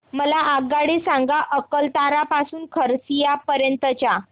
मला आगगाडी सांगा अकलतरा ते खरसिया पर्यंत च्या